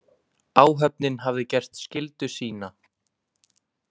Áhöfnin hafði gert skyldu sína.